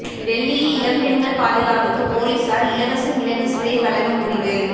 டெல்லியில் இளம் பெண்கள் பாதுகாப்புக்கு போலீசார் இலவச மிளகு ஸ்பிரே வழங்க முடிவு